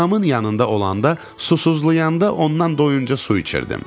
Anamın yanında olanda, susuzlayanda ondan doyunca su içirdim.